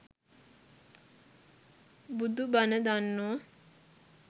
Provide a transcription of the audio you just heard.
බුදු බණ දන්නෝ